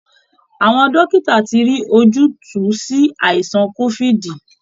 Àwọn dókìtà ti rí ojútùú sí aìsàn COvID